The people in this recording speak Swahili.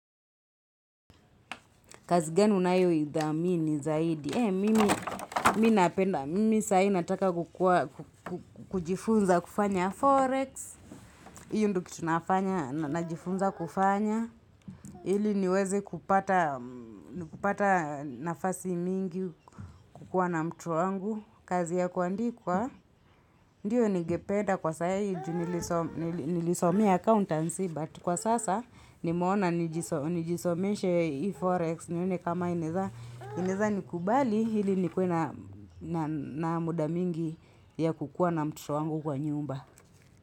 Kazi gani unayo idhamini zaidi. E, mimi, mi napenda. Mimi, saa hii nataka kukua, kujifunza kufanya Forex. Hiyo ndo kitu nafanya, najifunza kufanya. Ili niweze kupata nafasi mingi kukua na mtu wangu. Kazi ya kuandikwa. Ndiyo ningependa kwa saa hii, nilisomea accountancy, but kwa sasa, nimeona nijisomeshe Forex. Nione kama ineza nikubali ili nikuwe na muda mingi ya kukua na mtoto wangu kwa nyumba.